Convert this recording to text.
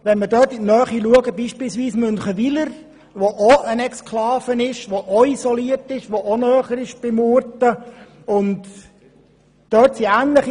In der Nähe von Clavaleyres ist es beispielsweise Münchenwiler, auch eine Exklave, auch isoliert und näher bei Murten liegend.